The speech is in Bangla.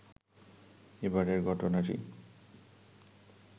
এবারের ঘটনাটি